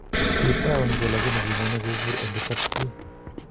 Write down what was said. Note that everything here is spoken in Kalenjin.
Kiit auny ge lagini kinyone kopur en kurkat bii.